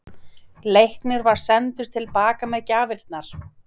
Leiknir var sendur til baka með gjafirnar.